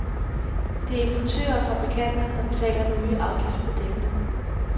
Det er importører og fabrikanter, der betaler den nye afgift på dækkene.